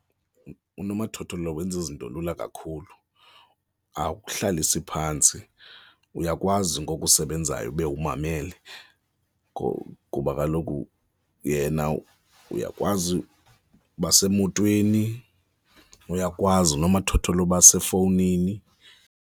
Unomathotholo wenza izinto lula kakhulu, akuhlalisi phantsi, uyakwazi ngoku usebenzayo ube umamele kuba kaloku yena uyakwazi uba usemotweni, uyakwazi unomathotholo uba sefowunini.